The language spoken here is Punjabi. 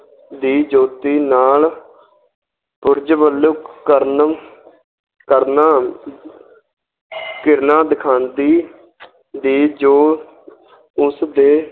ਦੀ ਜੋਤੀ ਨਾਲ ਉੱਜਵਲ ਕਰਨ ਕਰਨਾ ਕਿਰਨਾਂ ਦਿਖਾਉਂਦੀ ਦੀ ਜੋ ਉਸਦੇ